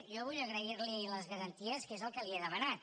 jo vull agrair li les garanties que és el que li he demanat